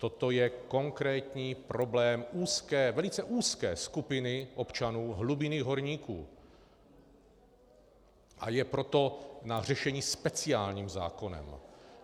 Toto je konkrétní problém úzké, velice úzké skupiny občanů, hlubinných horníků, a je proto na řešení speciálním zákonem.